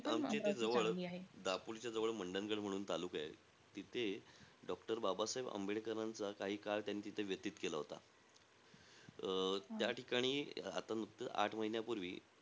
आमच्या इथे जवळ, दापोलीच्याजवळ मंडनगड म्हणून तालुका आहे. तिथे doctor बाबासाहेब आंबेडकरांचा काही काळ, त्यांनी तिथे व्यतीत केला होता. अं त्या ठिकाणी आता नुकतंच आठ महिन्यापूर्वी,